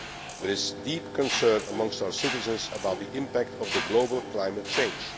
There is deep concern amongst our citizens about the impact of global climate change.